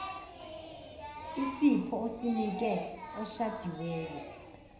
isipho osinike oshadiweyo